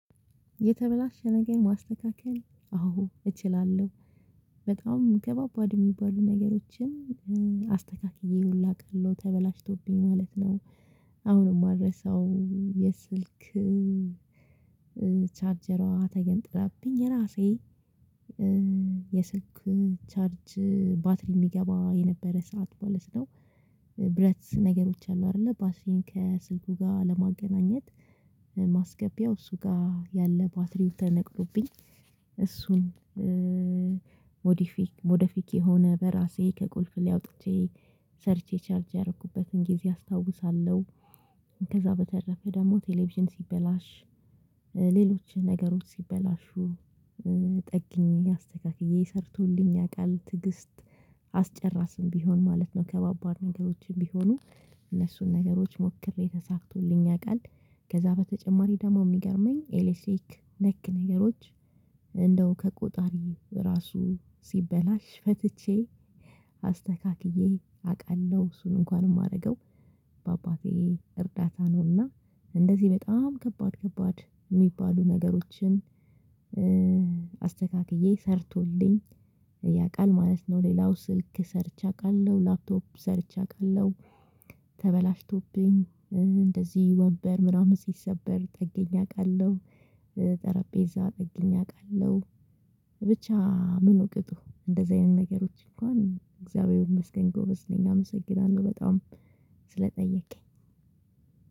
የተበላሸ ነገር ማስተካከል አዎ እችላለሁ። በጣም ከባባድ የሚባሉ ነገሮችን አስተካክዬ ሁሉ አውቃለሁ ተበላሽቶብኝ ማለት ነው። አሁንም አልረሳውም የስልክ ቻርጀሯ ተገንጥላብኝ የራሴ የስልክ ቻርጅ ባትሪ የሚገባ የነበረ ሰዓት ማለት ነው። ብረት ነገሮች አሉ አይደለ ባትሪን ከስልኩ ጋር ለማገናኘት ማስገቢያው እሱ ጋር ያለ ባትሪው ተነቅሎብኝ እሱን ሞዴፊክ የሆነ በራሴ ከቁልፍ ላይ አውጥቼ ሰርቼ ቻርጅ ያደረኩበትን ጊዜ አስታውሳለሁ። ከዛ በተረፈ ደግሞ ቴሌቪዥን ሲበላሽ ሌሎች ነገሮች ሲበላሹ ጠግኜ አስተካክዬ ሰርቶልኝ ያውቃል። ትግስት አስጨራሽም ቢሆን ማለት ነው። ከባባድ ነገሮችም ቢሆኑ እነሱን ነገሮች ሞክሬ ተሳክቶልኝ ያውቃል። ከዛ በተጨማሪ ደግሞ የሚገርመኝ ኤሌክትሪክ ነክ ነገሮች እንደው ከቆጣሪ ራሱ ሲበላሽ ፈትቼ አስተካክዬ አውቃለሁ። እሱን እንኳን የማደርገው በአባቴ እርዳታ ነውና እንደዚህ በጣም ከባድ ከባድ የሚባሉ ነገሮችን አስተካክዬ ሰርቶልኝ ያውቃል ማለት ነው። ሌላው ስልክ ሰርቻለሁ አቃለው ላፕቶፕ ሰርቼ አቃለሁ። ተበላሽቶብኝ እንደዚህ ወንበር ምናምን ሲሰበር ጠገኜ አውቃለሁ። ጠረጴዛ ጠግኜ አቃለው። ብቻ ምኑ ቅጡ እንደዚያ አይነት ነገሮች እንኳን እግዚአብሔር ይመስገን ጎበዝ ነኝ አመሰግናለሁ በጣም ስለጠየቅከኝ።